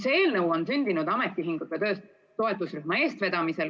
See eelnõu on sündinud ametiühingute toetusrühma eestvedamisel.